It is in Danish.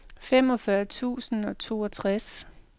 femogfyrre tusind og toogtres